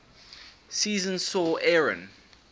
season saw aaron